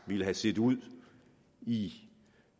ville have set ud i